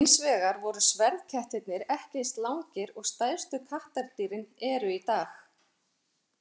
Hins vegar voru sverðkettirnir ekki eins langir og stærstu kattardýrin eru í dag.